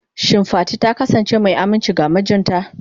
Shin Fati ta kasance mai aminci ga mijinta?